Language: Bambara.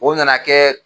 O nana kɛ